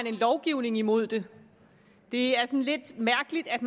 en lovgivning imod det det er sådan lidt mærkeligt at